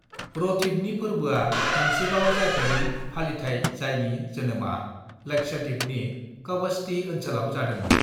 रथीबनि फोर्बोआ मोनसेबाव जाफेरै फालिथाइ जायनि जोनोमा लक्षद्वीपनि कवरत्ती ओनसोलाव जादोंमोन।